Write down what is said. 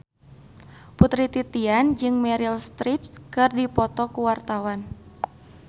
Putri Titian jeung Meryl Streep keur dipoto ku wartawan